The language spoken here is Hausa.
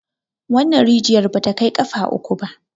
wannan rijiyar ba ta Kai kafa uku ba